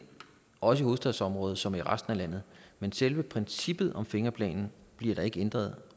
også i hovedstadsområdet som i resten af landet men selve princippet om fingerplanen bliver der ikke ændret